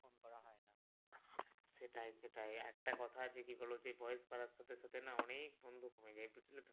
সেটাই সেটাই একটা কথা যদি হল যে বয়স বাড়ার সাথে সাথে না অনেক বন্ধু কমে যাই।